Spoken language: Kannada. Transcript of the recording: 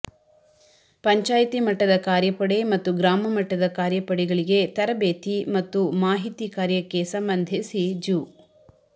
ಪಂ ಮಟ್ಟದ ಕಾರ್ಯಪಡೆ ಮತ್ತು ಗ್ರಾಮ ಮಟ್ಟದ ಕಾರ್ಯಪಡೆಗಳಿಗೆ ತರಬೇತಿ ಮತ್ತು ಮಾಹಿತಿ ಕಾರ್ಯಕ್ಕೆ ಸಂಬಂಧಿಸಿ ಜು